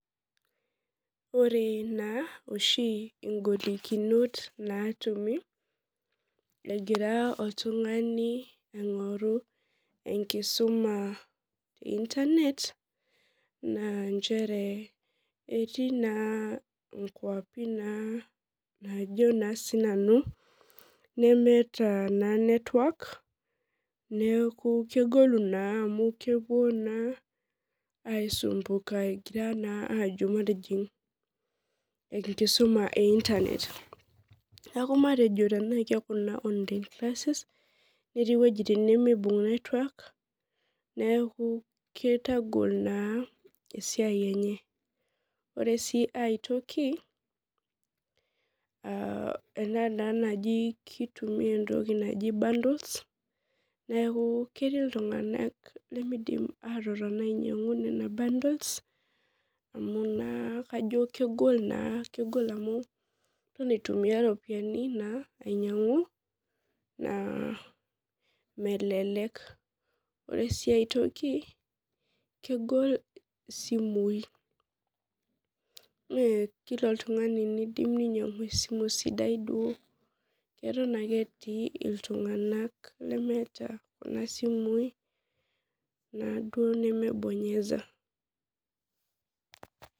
Ore na oshi ng'olikinot natumi egira oltungani aingoru enkisuma te internet na nchere etii na nkwapi na najo na sinanu nemeta network na kajo naa kepuo aisumbuka egira naa ajo matijing enkusuma e online neaku netii wuejitin nemeibung network neaku kitagol esiai enye ore si aitoki tenaa enatoki naji kitumia bundles na ketii ltunganak lemetum bundles[cs[ amu naa kegol kegol amu iton aitumia ropiyani ainyangu neaku melek ore si aitoki na kegol isimui mekila oltungani nidim ninyangu esimu sidia atan ake etii ltunganak lemeeta kuna simui namaa bonyeza